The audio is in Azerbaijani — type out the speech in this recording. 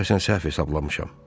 Deyəsən səhv hesablamışam.